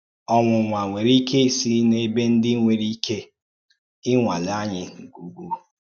Ọ́nwụ̀nwà nwèrè ìké ísì n’ẹ̀bè ǹdí nwèrè ìké ị̀nwàlè ànyí nke ukwu.